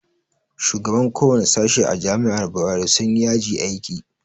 Shugabannin kowane sashe a jami'ar bayero sun yi yaji aiki